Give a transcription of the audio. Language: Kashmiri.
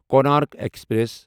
کونارک ایکسپریس